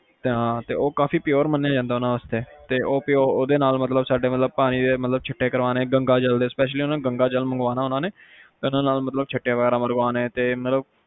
ਤੇ ਹਾ ਫੇਰ ਉਹ ਕਾਫੀ pure ਮੰਨਿਆ ਜਾਂਦਾ ਉਹਨਾਂ ਵਾਸਤੇ ਤੇ ਉਹਦੇ ਨਾਲ ਉਹ ਜਿਵੇ ਪਾਣੀ ਦੇ ਛਿਟੇ ਗੰਗਾਜਲ special ਗੰਗਾਜਲ ਮੰਗਵਾਉਣਾ ਉਹਨਾਂ ਨੇ ਤੇ ਉਹਦੇ ਨਾਲ ਛਿਟੇ ਮਰਵਾਣੇ, ਮਤਲਬ